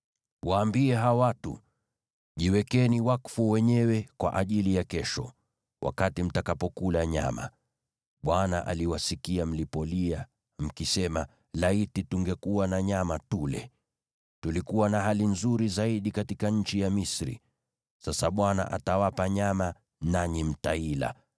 “Waambie hao watu: ‘Jiwekeni wakfu wenyewe kwa ajili ya kesho, wakati mtakapokula nyama. Bwana aliwasikia mlipolia, mkisema, “Laiti tungekuwa na nyama tule! Tulikuwa na hali nzuri zaidi katika nchi ya Misri!” Sasa Bwana atawapa nyama, nanyi mtaila.